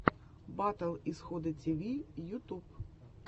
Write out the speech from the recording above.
батл исхода тиви ютуб